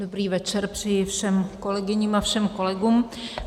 Dobrý večer přeji všem kolegyním a všem kolegům.